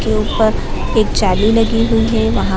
पे जाली लगी हुई है वहां --